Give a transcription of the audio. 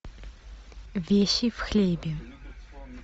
вещи в хлебе